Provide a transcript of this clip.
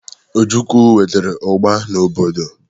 Ojukwu wetara ugba n'obodo.